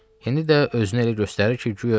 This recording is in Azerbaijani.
İndi də özünü elə göstərir ki, guya ölür.